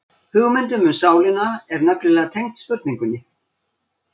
Hugmyndin um sálina er nefnilega tengd spurningunni.